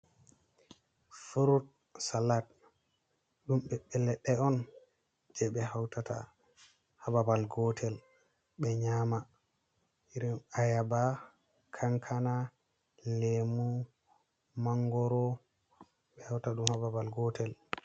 furut salat, ɗum ɓebɓe ledɗe on je be hautata hababal gotel be nyama, irin ayaba, kankana, Lemu, mangoro, ɓe hauta ɗum hababal gotel.